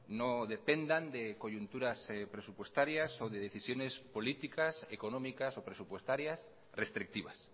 no dependan de coyunturas presupuestarias o de decisiones políticas económicas o presupuestarias restrictivas